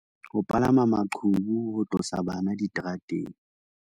Ho palama maqhubu ho tlosa bana diterateng